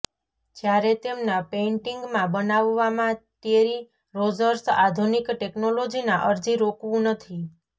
જ્યારે તેમના પેઇન્ટિંગમાં બનાવવામાં ટેરી રોજર્સ આધુનિક ટેકનોલોજીના અરજી રોકવું નથી